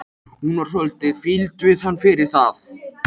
Hún varð svolítið fýld við hann fyrir það.